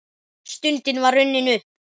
Stundin var runnin upp.